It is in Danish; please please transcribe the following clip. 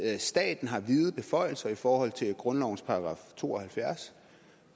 at staten har vide beføjelser i forhold til grundlovens § to og halvfjerds